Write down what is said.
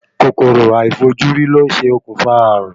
Kòkòrò aifojuri ló ń ṣe okùnfà ààrùn.